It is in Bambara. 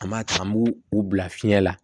An b'a ta an b'u u bila fiɲɛ la